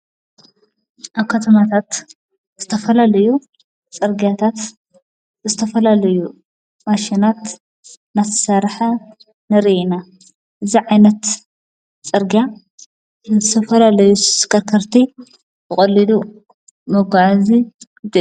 ኣብ ከተማታት ዝተፈላልዩ ጸርጋታት ዝተፈላልዩ ማሽናት ናሠርሐ ንርኢ ኢና። ዝዕይነት ጸርጋ ዝተፈላለዩ ስተሽከርከርቲ ቖሊዱ መጕዓዙ እዩ።